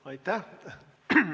Aitäh!